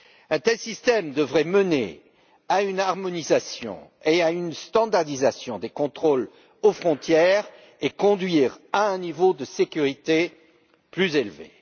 Un tel système devrait mener à une harmonisation et à une standardisation des contrôles aux frontières, et conduire à un niveau de sécurité plus élevé.